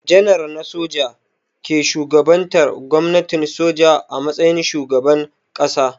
Janar na soja ke shugabantar gwamnatin soja a matsayin shugaban ƙasa.